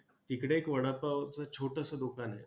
तिकडे एक वडापावचं छोटसं दुकान आहे.